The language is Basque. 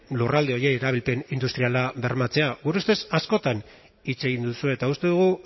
lurralde horiei erabilpen industriala bermatzea gure ustez askotan hitz egin duzue eta uste dugu